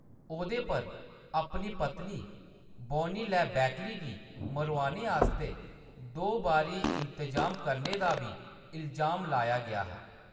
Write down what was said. ओह्दे पर अपनी पत्नी बॉनी लै बैकली गी मरोआने आस्तै दो बारी इंतजाम करने दा बी इलजाम लाया गेआ हा।